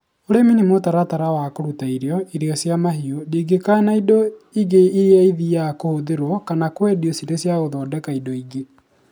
Ũrĩmi nĩ mũtaratara wa kũruta irio, irio cia mahiũ, ndigi kana indo ingĩ iria ithiaga kũhũthĩrwo kana kwendio cirĩ cia gũthondeka indo ingĩ